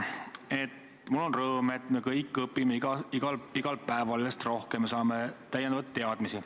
Ma tunnen rõõmu, et me kõik õpime igal päeval järjest rohkem ja saame lisateadmisi.